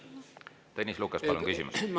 Tõnis Lukas, palun küsimus!